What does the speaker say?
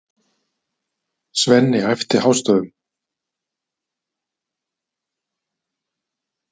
Svenni æpti hástöfum.